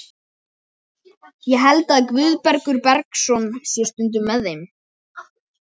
Ég held að Guðbergur Bergsson sé stundum með þeim.